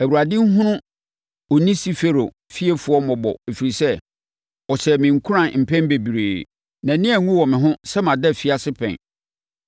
Awurade nhunu Onesiforo fiefoɔ mmɔbɔ ɛfiri sɛ, ɔhyɛɛ me nkuran mpɛn bebree. Nʼani anwu wɔ me ho sɛ mada afiase pɛn,